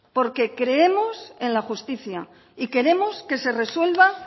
porque creemos en la justicia y queremos que se resuelva